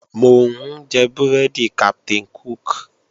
Mò ń jẹ búrẹ́dì Captain Cook